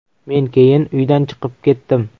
Men keyin uydan chiqib ketdim.